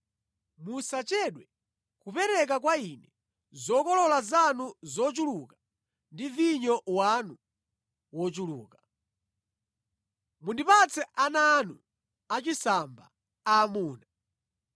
“Musachedwe kupereka kwa Ine zokolola zanu zochuluka ndi vinyo wanu wochuluka. “Mundipatse ana anu achisamba aamuna.